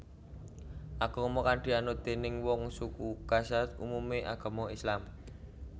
Agama kang dianut déning wong suku Kazakh umumé agama Islam